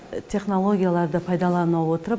технологияларды пайдалана отырып